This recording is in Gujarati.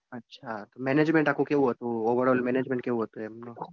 અચ્છા management આખું કેવું હતું. overall management કેવું હતું એમનું?